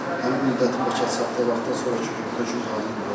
Həmin müddətin başa çatdığı vaxtdan sonrakı gün hökm qanuni qüvvəyə minir.